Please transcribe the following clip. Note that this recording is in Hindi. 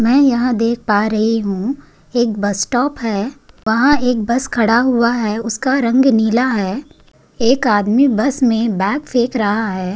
मै यहाँ देख पा रही हु एक बस स्टॉप है वहा एक बस खड़ा हुआ है उसका रंग नीला है एक आदमी बस में बैग फेक रहा है।